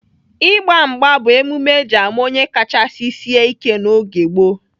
Ịgba mgba bụ emume eji ama onye kachasị sịe ike n'oge gboo.